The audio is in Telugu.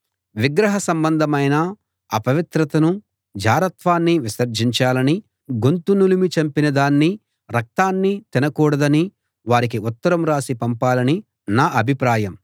విగ్రహ సంబంధమైన అపవిత్రతనూ జారత్వాన్నీ విసర్జించాలనీ గొంతు నులిమి చంపిన దాన్ని రక్తాన్నీ తినకూడదనీ వారికి ఉత్తరం రాసి పంపాలని నా అభిప్రాయం